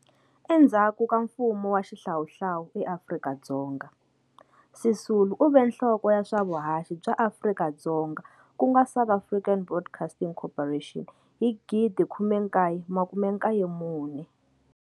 Endzhaku ka mfumo wa xihlawuhlawu eAfrika-Dzonga, Sisulu u ve nhloko ya swa vuhaxi bya Afrika-Dzonga ku nga South African Broadcast Corporation in 1994.